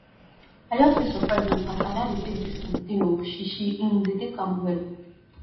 i just dey surprised um as ada dey take dis um thing oo she she um dey take am well